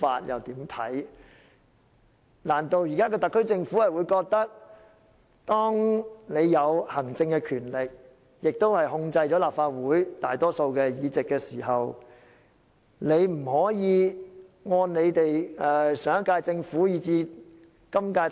現時特區政府擁有行政權力，亦控制了立法會大多數的議席，難道有所質疑政府就不能達到上屆以至今屆的成績嗎？